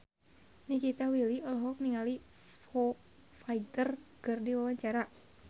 Nikita Willy olohok ningali Foo Fighter keur diwawancara